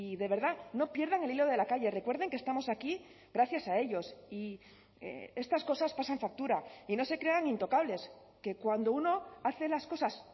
de verdad no pierdan el hilo de la calle recuerden que estamos aquí gracias a ellos y estas cosas pasan factura y no se crean intocables que cuando uno hace las cosas